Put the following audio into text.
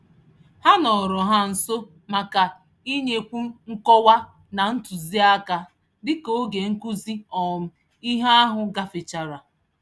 Ha nọọrọ ha nso màkà inyekwu nkọwa na ntụziaka, dịka oge nkụzi um ìhè ahụ gáfèchara